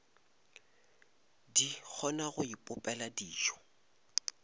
di kgona go ipopela dijo